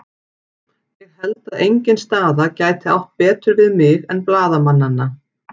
Ég held að engin staða gæti átt betur við mig en blaðamannanna.